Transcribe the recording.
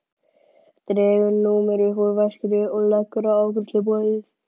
Dregur númer upp úr veskinu og leggur á afgreiðsluborðið.